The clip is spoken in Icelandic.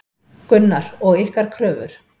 Gunnar: Og ykkar kröfur?